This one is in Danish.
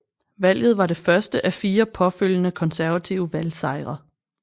Valget var det første af fire påfølgende konservative valgsejre